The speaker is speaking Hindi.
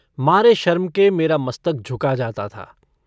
मारे शर्म के मेरा मस्तक झुका जाता था।